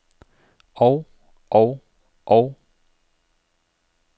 og og og